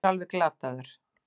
Hann er alveg glataður.